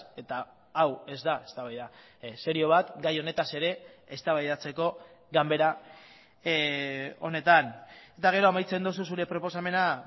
eta hau ez da eztabaida serio bat gai honetaz ere eztabaidatzeko ganbera honetan eta gero amaitzen duzu zure proposamena